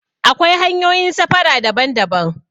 Akwai hanyoyin safara daban daban